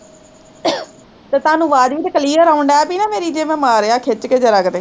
ਤੇ ਤੁਹਾਨੂੰ ਆਵਾਜ਼ ਵੀ ਤਾਂ clear ਆਉਣ ਡਹਿ ਪਈ ਨਾ ਮੇਰੀ, ਜੇ ਮੈਂ ਮਾਰਿਆ ਖਿੱਚ ਕੇ ਜ਼ਰਾ ਕੁ ਤੇ